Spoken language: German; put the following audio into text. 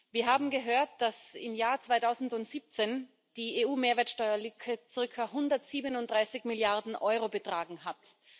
Wir haben gehört, dass im Jahr 2017 die EU Mehrwertsteuerlücke circa 137 Milliarden Euro betragen hat.